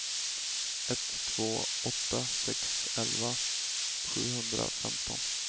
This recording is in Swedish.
ett två åtta sex elva sjuhundrafemton